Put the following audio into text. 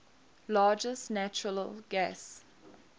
largest natural gas